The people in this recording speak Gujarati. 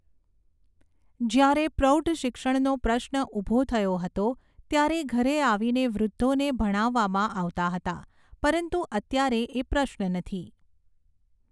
જ્યારે પ્રૌઢ શિક્ષણનો પ્રશ્ન ઊભો થયો હતો, ત્યારે ઘરે આવીને વૃદ્ધોને ભણાવવામાં આવતા હતા, પરંતુ અત્યારે એ પ્રશ્ન નથી.